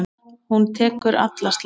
Hún tekur alla slagi.